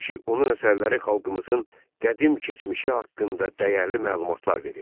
Çünki onun əsərləri xalqımızın qədim keçmişi haqqında dəyərli məlumatlar verir.